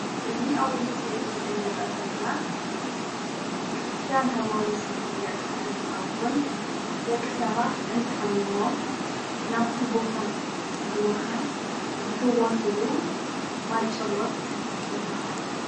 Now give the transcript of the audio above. እዚ አብዚ ምስሊ እዚ እነሪኦ ዘለና ክርስተያን ሃይማኖት ዝፍለጥ እንተከውን ደቂ ሰባተ እንተሓሚሞም ናበቲ ቦታ ብምካድ ዝፍወስሉ ማይጮሎት ይበሃል፡፡